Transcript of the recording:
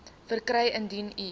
verkry indien u